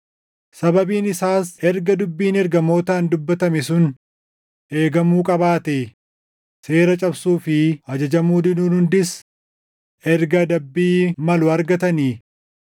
Sababiin isaas erga dubbiin ergamootaan dubbatame sun eegamuu qabaatee, seera cabsuu fi ajajamuu diduun hundis erga adabbii malu argatanii,